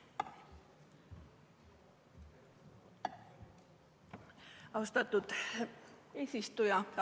Austatud eesistuja!